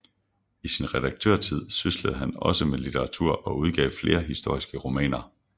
I sin redaktørtid syslede han også med litteratur og udgav flere historiske romaner